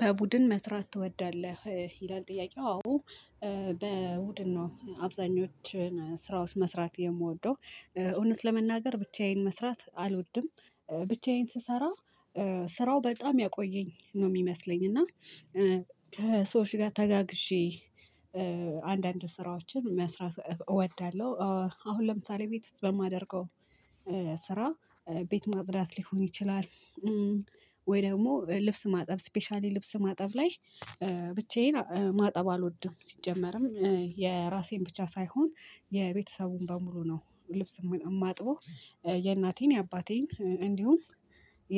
በቡድን መስራት ትወዳለህ? ይላል ጥያቄው አዎ በቡድን ነው አብዛኞቹን ስራዎች መስራት የምወደው። እውነት ለመናገር ብቻዬን መስራት አልወድም ብቻዬን ስሰራ ስራው በጣም ያቆየኝ ነው የሚመስለኝ እና። ከሰዎች ጋር ተጋግዠ አንዳንድ ስራዎችን መስራት እወዳለሁ። አሁን ለምሳሌ ቤት ውስጥ በማደርገው ስራ ቤት ማጽዳት ሊሆን ይችላል። ወይ ደግሞ ልብስ ማጠብ ስፔሻሊ ልብስ ማጠብ ላይ ብቻዬን ማጠብ አልወድም። ሲጀመር የራሴን ብቻ ሳይሆን የቤተሰቡን በሙሉ ነው ልብስ የማጥበው። የእናቴን የአባቴን እንዲሁም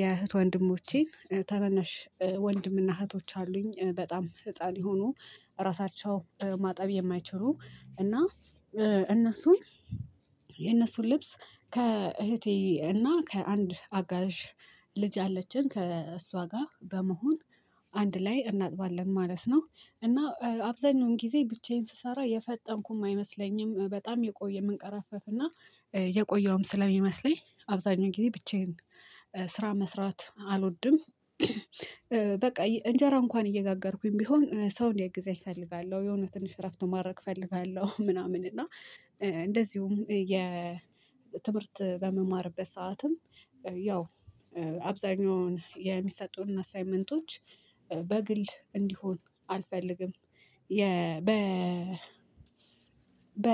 የእህት ወንድሞቼን ታናናሽ ወንድምና እህቶች አሉኝ በጣም ህፃን የሆኑ ራሳቸው በማጠብ የማይችሉ እና እነሱን የእነሱን ልብስ ከእህቴ እና ከአንድ አጋዥ ልጅ አለችን ከእሷ ጋር በመሆን አንድ ላይ እናጥባለን ማለት ነው። እና አብዛኛውን ጊዜ ብቻዬን ስሰራ የፈጠምኩም አይመስለኝም በጣም የቆየ የምንቀራፈፍ እና የቆየውም ስለሚመስለኝ አብዛኛው ጊዜ ብቻዬን ስራ መስራት አልወድም። በቃ እንጀራ እንኳን እየጋገርኩኝ ቢሆን ሰው እንዲያግዘኝ እፈልጋለሁ የሆነ ትንሽ እረፍት ማድረግ እፈልጋለሁ። ምናምን እና እንደዚሁም የ ትምህርት በምማርበት ሰዓትም ያው አብዛኛውን የሚሰጡን አሳይመንቶች በግል እንዲሆን አልፈልግም። የ በ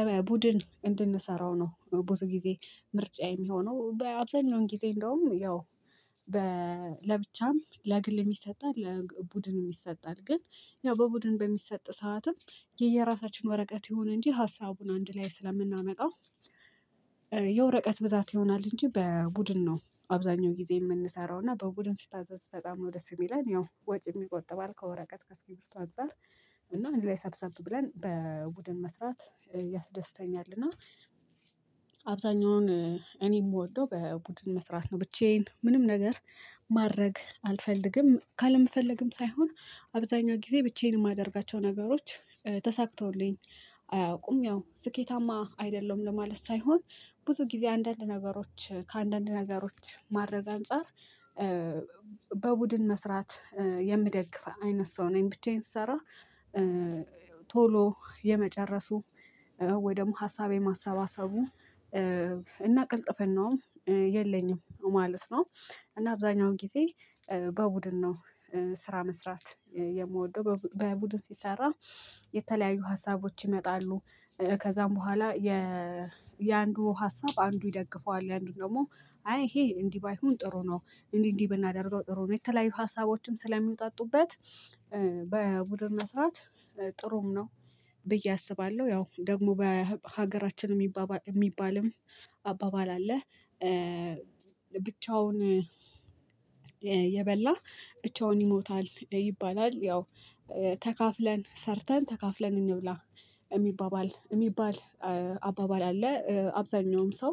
በቡድን እንድንሰራው ነው። ብዙ ጊዜ ምርጫ የሚሆነው በአብዛኛው ጊዜ እንደውም ያው። ለብቻም ለግልም ይሰጣል ለቡድን የሰጣል ግን ያው በቡድን በሚሰጥ ሰዓትም የየራሳችን ወረቀት ይሁን እንጂ ሀሳቡን አንድ ላይ ስለምናመጣው የወረቀት ብዛት ይሆናል እንጂ በቡድን ነው። አብዛኛው ጊዜ የምንሰራው እና በቡድን ስታዘዝ በጣም ነው ደስ የሚለን ያው ወጪ የሚቆጥብ ከወረቀት ከ እስኪርቢቶ አንፃር። እና እንድ ላይ ሰብሰብ ብለን በቡድን መስራት ያስደስተኛል። እና አብዛኛውን እኔ የምወደው በቡድን መስራት ነው። ብቻዬን ምንም ነገር ማድረግ አልፈልግም ካለምፈልግም ሳይሆን አብዛኛው ጊዜ ብቻዬን የማደርጋቸው ነገሮች ተሳክተውልኝ አያውቁም ያው ስኬታማ አይደለውም ለማለት ሳይሆን ብዙ ጊዜ አንዳንድ ነገሮች ከአንዳንድ ነገሮች ማረግ አንፃር በቡድን መስራት የሚደግፍ አይነት ሰው ነኝ። ብቻዬን ስሰራ ቶሎ የመጨረሱ ወይ ደግሞ ሀሳቤ ማሰባሰቡ እና ቅልጥፍናውም የለኝም ማለት ነው። እና አብዛኛውን ጊዜ በቡድን ነው። ስራ መስራት የምወደው በቡድን ሲሰራ የተለያዩ ሀሳቦች ይመጣሉ። ከዛም በኋላ የ የአንዱ ሀሳብ አንዱ ይደግፈዋል የአንዱ ደግሞ አይ ይሄ እንዲህ ባይሆን ጥሩ ነው እንዲህ እንዲህ ብናደርገው ጥሩ ነው። የተለያዩ ሀሳቦችም ስለሚውጣጡበት በቡድን መስራት ጥሩም ነው ብዬ አስባለሁ። ያው ደግሞ በሀገራችን የሚባባል የሚባልም አባባል አለ። ብቻውን የበላ ብቻውን ይሞታል ይባላል። ያው ተካፍለን ሰርተን ተካፍለን እንብላ የሚባባል የሚባል አባባል አለ። አብዛኛውም ሰው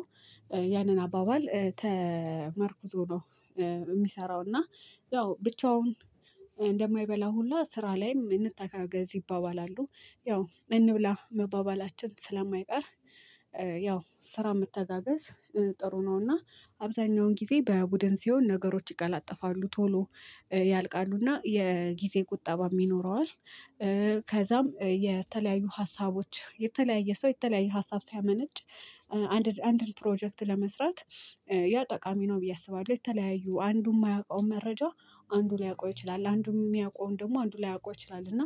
ያንን አባባል ተመርኩዞ ነው። የሚሰራው እና ያው ብቻውን እንደማይበላ ሁላ ስራ ላይም እንተጋገዝ ይባባላሉ ያው እንብላ መባባላችን ስለማይቀር ያው ስራ መተጋገዝ ጥሩ ነው። እና አብዛኛውን ጊዜ በቡድን ሲሆን ነገሮች ይቀላጠፋሉ ቶሎ ያልቃሉና የጊዜ ቁጠባ የሚኖረዋል። ከዛም የተለያዩ ሀሳቦች የተለያየ ሰው የተለያየ ሀሳብ ሳያመነጭ አንድ አንድን ፕሮጀክት ለመስራት ያ ጠቃሚ ነው ብዬ አስባለሁ። የተለያዩ አንዱ የማያውቀው መረጃ አንዱ ሊያውቀው ይችላል። አንዱም የሚያውቀውን ደግሞ አንዱ ላያውቀው ይችላል። እና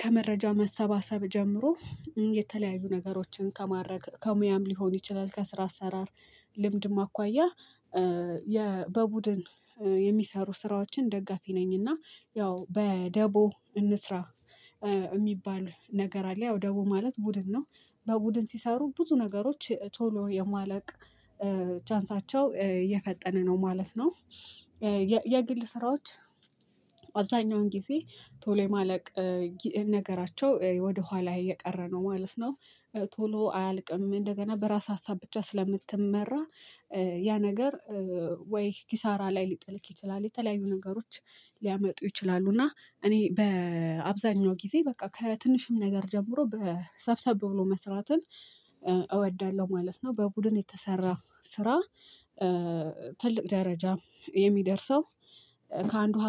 ከመረጃው መሰባሰብ ጀምሮ የተለያዩ ነገሮችን ከማረግ ከሙያም ሊሆን ይችላል። ከስራ አሰራር ልምድ ማኳያ በቡድን የሚሰሩ ስራዎችን ደጋፊ ነኝና። ያው በደቦ እንስራ የሚባል ነገር አለ። ያው ደቦ ማለት ቡድን ነው። በቡድን ሲሰሩ ብዙ ነገሮች ቶሎ የማለቅ ቻንሳቸው የፈጠነ ነው ማለት ነው። የግል ስራዎች አብዛኛውን ጊዜ ቶሎ የማለቅ ነገራቸው ወደ ኋላ እየቀረ ነው ማለት ነው። ቶሎ አያልቅም እንደገና በራስ ሀሳብ ብቻ ስለምትመራ ያ ነገር ወይ ኪሳራ ላይ ሊጥልክ ይችላል። የተለያዩ ነገሮች ሊያመጡ ይችላሉ። እና እኔ በአብዛኛው ጊዜ በቃ ከትንሽም ነገር ጀምሮ በሰብሰብ ብሎ መስራትን እወዳለሁ ማለት ነው። በቡድን የተሰራ ስራ ትልቅ ደረጃ የሚደርሰው ከአንዱ